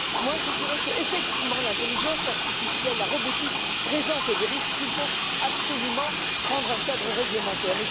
Moi, je dirais qu'effectivement, l'intelligence artificielle et la robotique présentent des risques et qu'il faut absolument adopter un cadre réglementaire.